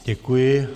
Děkuji.